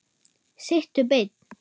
Sittu beinn.